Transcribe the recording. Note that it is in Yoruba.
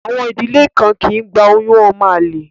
Àwọn ìdílé kan kì í gba oyún ọmọ àlè